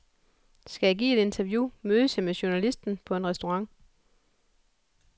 Skal jeg give et interview, mødes jeg med journalisten på en restaurant.